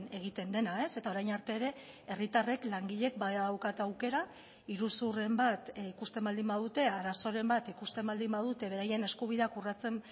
egiten dena eta orain arte ere herritarrek langileek badaukate aukera iruzurren bat ikusten baldin badute arazoren bat ikusten baldin badute beraien eskubideak urratzen